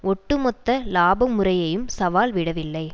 ஒட்டுமொத்த இலாப முறையையும் சவால் விடவில்லை